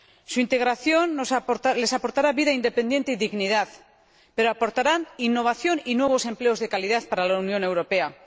Su integración les aportará vida independiente y dignidad, pero aportará innovación y nuevos empleos de calidad para la Unión Europea.